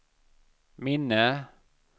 minne